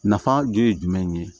Nafa gere jumɛn ye